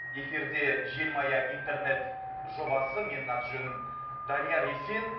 эфирде желмая интернет жобасы менің аты жөнім данияр есен